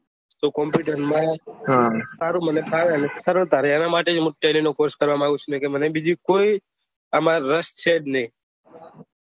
તો કમ્પ્યુટર માં હારું મને ભાવે અને એના માટે હું ટેલી નો કોર્ષ કરવા માંગું છું અને બીજું કોઈ મને રસ નહિ